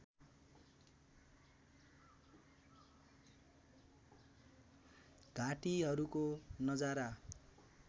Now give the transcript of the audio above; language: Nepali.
घाटीहरूको नजारा